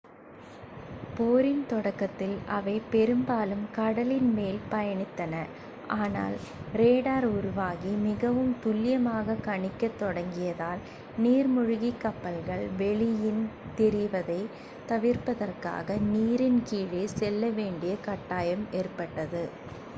போரின் தொடக்கத்தில் அவை பெரும்பாலும் கடலின் மேல் பயணித்தன ஆனால் ரேடார் உருவாகி மிகவும் துல்லியமாகக் கணிக்கத் தொடங்கியதால் நீர்மூழ்கிக் கப்பல்கள் வெளியில் தெரிவதைத் தவிர்ப்பதற்காக நீரின் கீழே செல்லவேண்டிய கட்டாயம் ஏற்பட்டது